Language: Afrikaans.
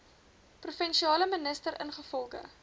provinsiale minister ingevolge